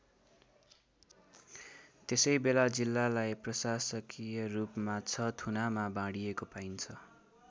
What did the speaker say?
त्यसै बेला जिल्लालाई प्रशासकीयरूपमा ६ थुनामा बाँडीएको पाइन्छ।